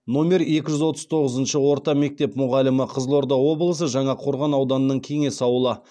номер екі жүз отыз тоғызыншы орта мектеп мұғалімі